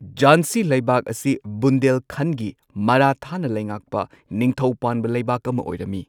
ꯓꯥꯟꯁꯤ ꯂꯩꯕꯥꯛ ꯑꯁꯤ ꯕꯨꯟꯗꯦꯜꯈꯟꯗꯒꯤ ꯃꯥꯔꯥꯊꯥꯅ ꯂꯩꯉꯥꯛꯄ ꯅꯤꯡꯊꯧ ꯄꯥꯟꯕ ꯂꯩꯕꯥꯛ ꯑꯃ ꯑꯣꯢꯔꯝꯃꯤ꯫